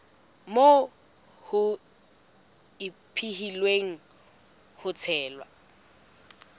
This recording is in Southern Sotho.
moo ho ipehilweng ka tsela